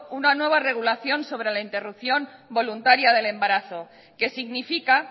una nueva regulación sobre la interrupción voluntaria del embarazo que significa